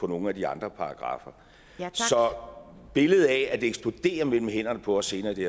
nogle af de andre paragraffer så billedet af at det eksploderer mellem hænderne på os senere i det